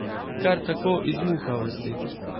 Kar tako, iz muhavosti.